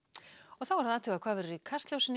þá er að athuga hvað verður í Kastljósinu